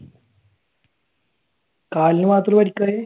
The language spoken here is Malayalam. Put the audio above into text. കാലിന് മാത്ര പരിക്കായെ?